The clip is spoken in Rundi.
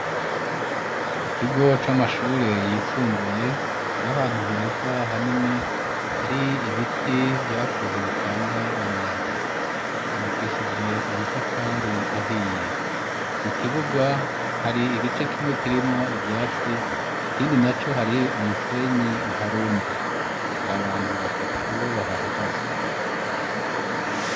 Mu kigo c'amashure yisumbuye kira ahantu heza hanini hari ibiti vyakuze bitanga umuyaga kubakishije amatafari ahiye mu kibuga hari igice kimwe kirimwo ivyatsi kindi na co hari umusenyi uharunze hari abantu batatu bobahahagaze.